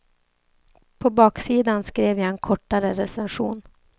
På baksidan skrev jag en kortare recension.